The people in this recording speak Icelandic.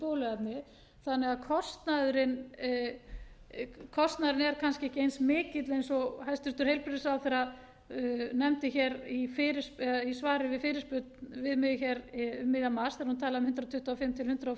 bóluefni þannig að kostnaðurinn er kannski ekki eins mikill og hæstvirtur heilbrigðisráðherra nefndi hér í svari við fyrirspurn við mig hér um miðjan mars þegar hún talaði um hundrað tuttugu og fimm til hundrað